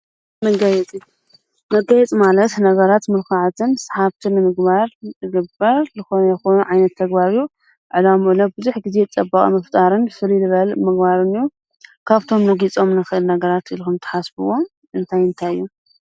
መጋየፂ መጋየፂ ማለት ነገራት ምልኩዓትን ሰሓብትን ንምግባር ዝግበር ዝኾነ ይኹን ዓይነት ተግባር እዩ፡፡ ዕላሙኡ እውን ግዜ ፅባቀ ንምፍጣርን ፍልይ ዝበለ ምግባረ እዩ፡፡ ካብቶም እነጊፆም ነገራት ኢልኩም እትሓስብዎ እንታይ እንታይ እዩ?